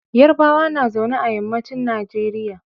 Yarbawa na zaune a yammacin Nigeria.